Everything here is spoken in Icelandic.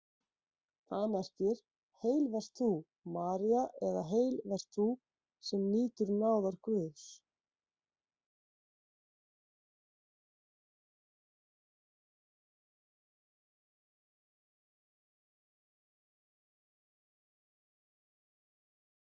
Það merkir: Heil vert þú, María eða Heil vert þú, sem nýtur náðar Guðs.